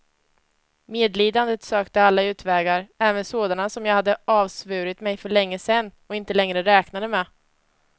Medlidandet sökte alla utvägar, även sådana som jag hade avsvurit mig för länge sen och inte längre räknade med.